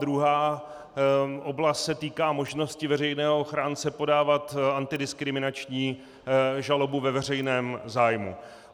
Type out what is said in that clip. Druhá oblast se týká možnosti veřejného ochránce podávat antidiskriminační žalobu ve veřejném zájmu.